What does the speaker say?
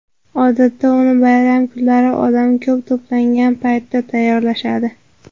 Odatda uni bayram kunlari, odam ko‘p to‘plangan paytda tayyorlashadi.